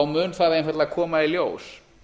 mun það einfaldlega koma í ljós